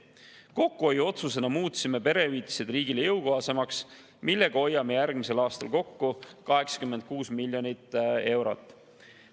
Kokkuhoiuotsusena muutsime perehüvitised riigile jõukohasemaks, millega hoiame järgmisel aastal kokku 86 miljonit eurot.